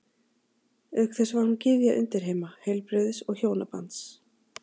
Auk þess var hún gyðja undirheima, heilbrigðis og hjónabands.